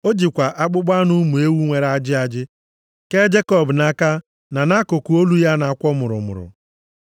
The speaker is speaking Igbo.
O jikwa akpụkpọ anụ ụmụ ewu nwere ajị ajị kee Jekọb nʼaka na nʼakụkụ olu ya na-akwọ mụrụmụrụ. + 27:16 Ya bụ ebe ajị nʼadịghị